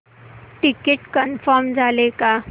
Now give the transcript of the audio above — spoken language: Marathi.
टिकीट कन्फर्म झाले का